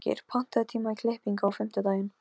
Hróðgeir, pantaðu tíma í klippingu á fimmtudaginn.